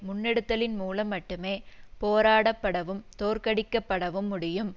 முன்னெடுத்தலின் மூலம் மட்டுமே போராடப்படவும் தோற்கடிக்கப்படவும் முடியும்